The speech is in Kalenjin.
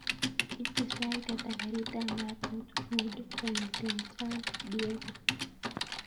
Ite sait ata karit ap maat north hwood kongeten san diego